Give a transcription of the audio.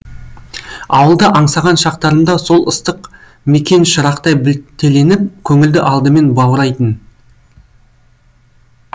ауылды аңсаған шақтарымда сол ыстық мекен шырақтай білтеленіп көңілді алдымен баурайтын